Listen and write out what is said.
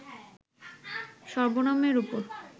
সর্বনামের উপর